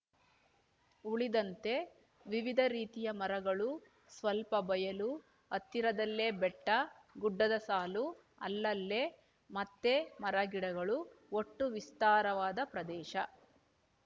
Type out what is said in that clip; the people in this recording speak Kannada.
ಉಳಿದಂತೆ ವಿವಿಧ ರೀತಿಯ ಮರಗಳು ಸ್ವಲ್ಪ ಬಯಲು ಹತ್ತಿರದಲ್ಲೆ ಬೆಟ್ಟ ಗುಡ್ಡದ ಸಾಲು ಅಲ್ಲಲ್ಲೆ ಮತ್ತೆ ಮರಗಿಡಗಳು ಒಟ್ಟು ವಿಸ್ತಾರವಾದ ಪ್ರದೇಶ